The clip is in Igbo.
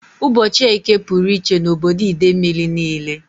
Ụbọchị Eke pụrụ iche na obodo Idemili niile